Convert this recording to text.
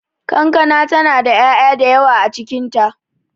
Kankana ta na da ya'ya da yawa a cikin ta.